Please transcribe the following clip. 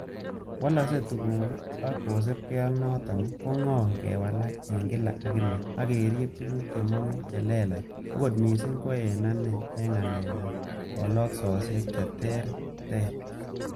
Wolokse tuguk ak kosibge ak noton, ko ng'oi kewalak en kila ak kila, ak kerib tuguk che mongu che lelach, okot missing ko en ane en ng'alek ab koloksosiek che terter.